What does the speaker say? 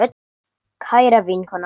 Kæra vinkona Anna.